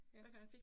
Ja